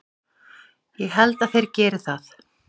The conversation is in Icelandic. Ég held að þeir geri það!